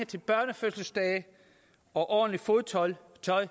til børnefødselsdage og ordentligt fodtøj